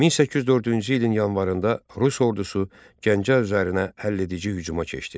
1804-cü ilin yanvarında Rus ordusu Gəncə üzərinə həlledici hücuma keçdi.